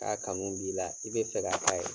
K'a kanu b'i la, i be fɛ ka k'a ye